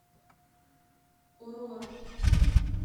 орора